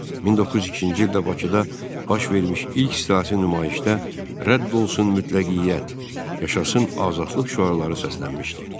1902-ci ildə Bakıda baş vermiş ilk siyasi nümayişdə “Rədd olsun mütləqiyyət, Yaşasın azadlıq!” şüarları səslənmişdi.